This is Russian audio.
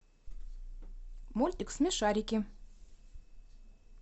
мультик смешарики